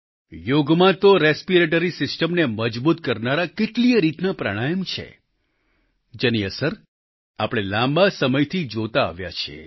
યોગમાં તો રેસ્પિરેટરી સિસ્ટમને મજબૂત કરનારા કેટલીયે રીતના પ્રાણાયમ છે જેની અસર આપણે લાંબા સમયથી જોતા આવ્યા છીએ